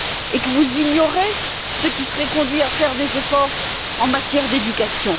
et que vous ignorez ceux qui seraient conduits à faire des efforts en matière d'éducation?